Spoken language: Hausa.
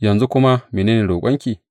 Yanzu kuma mene ne roƙonki?